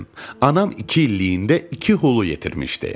Anam iki illiyində iki hulu yetirmişdi.